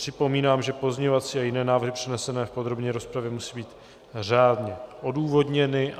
Připomínám, že pozměňovací a jiné návrhy přednesené v podrobné rozpravě musí být řádně odůvodněny.